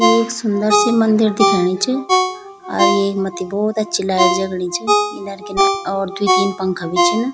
एक सुन्दर सी मंदिर दिखेणी च अर येक मत्थी भौत अच्छी लैट जगणी च किनर किनर और द्वि तीन पंखा भी छिन।